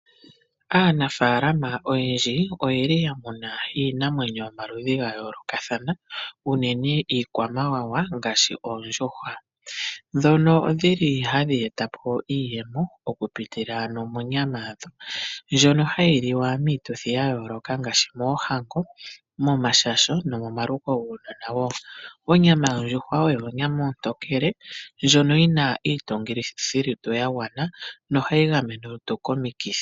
Aanafaalama oyendji oye li ya muna iinamwenyo yomaludhi ga yoolokathana unene iikwamawawa ngaashi oondjuhwa, ndhono dhi li hadhi eta po iiyemo okupitila ano monyama yadho. Ndjono hayi liwa miituthi ya yooloka ngashi moohango momashasho nomomaluko guunona wo. Onyama yondjuhwa oyo onyama ontontokele ndjono yi na iitungithi yolutu ya gwana nohayi gamene olutu komikithi.